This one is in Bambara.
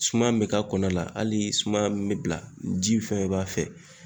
Suma min bɛ ka kɔnɔna la hali suma min bɛ bila ji fɛnɛ b'a fɛ